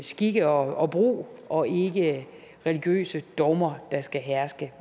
skik og brug og ikke religiøse dogmer der skal herske